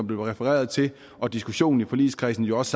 blev refereret til og diskussionen i forligskredsen jo også